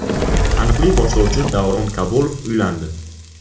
Taniqli boshlovchi Davron Kabulov uylandi.